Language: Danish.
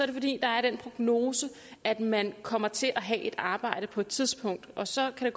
det fordi der er den prognose at man kommer til at have et arbejde på et tidspunkt og så kan